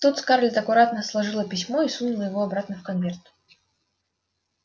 тут скарлетт аккуратно сложила письмо и сунула его обратно в конверт